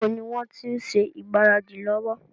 Níbo ni wọn ti ń ṣe ìgbáradì lọ́wọ́?